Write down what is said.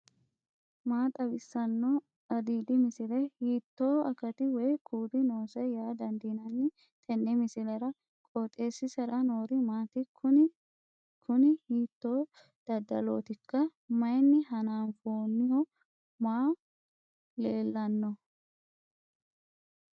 maa xawissanno aliidi misile ? hiitto akati woy kuuli noose yaa dandiinanni tenne misilera? qooxeessisera noori maati? kuni kuni hiito dadalootikka mayinni hanafoonniho may leellanno